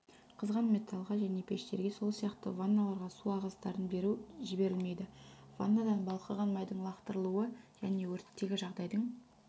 қызған металлға және пештерге сол сияқты ванналарға су ағыстарын беру жіберілмейді ваннадан балқыған майдың лақтырылуы және өрттегі жағдайдың